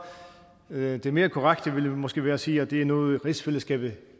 det der stod det mere korrekte ville måske være at sige at det er noget som rigsfællesskabet